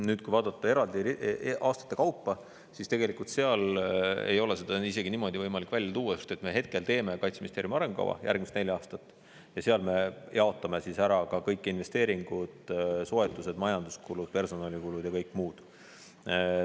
Nüüd, kui vaadata eraldi aastate kaupa, siis tegelikult ei ole seda isegi niimoodi võimalik välja tuua, sest me hetkel teeme Kaitseministeeriumi arengukava järgmise nelja aasta kohta ja seal me jaotame ära ka kõik investeeringud, soetused, majanduskulud, personalikulud ja kõik muud.